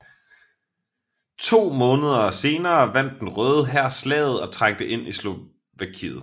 To måneder senere vandt den Røde Hær slaget og trængte ind i Slovakiet